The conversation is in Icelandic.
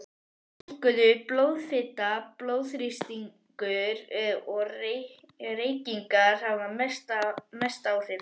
Hækkuð blóðfita, blóðþrýstingur og reykingar hafa mest áhrif.